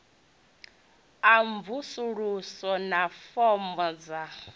a mvusuludzo na fomo dza